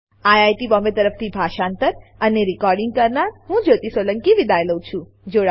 IIT Bombay તરફથી હું જ્યોતી સોલંકી વિદાય લઉં છું